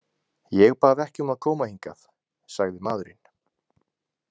Ég bað ekki um að koma hingað, sagði maðurinn.